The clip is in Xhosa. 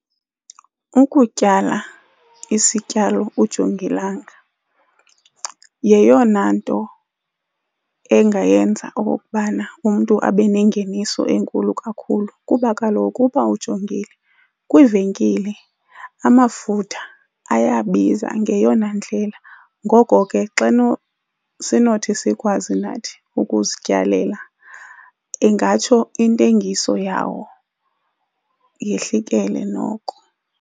Ukutyala isityalo ujongilanga yeyona nto engayenza okokubana umntu abe nengeniso enkulu kakhulu. Kuba kaloku uba ujongile, kwiivenkile amafutha ayabiza ngeyona ndlela ngoko ke xa sinothi sikwazi nathi ukuzityalela ingatsho intengiso yawo yehlikele noko.